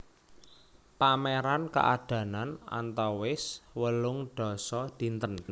Pameran kaadanan antawis wolung dasa dinten